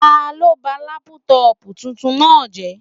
Taló ba lápútọ̀pù tuntun náà jẹ́?